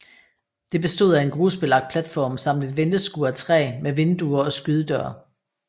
Det bestod af en grusbelagt platform samt et venteskur af træ med vinduer og skydedør